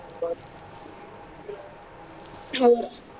ਔਰ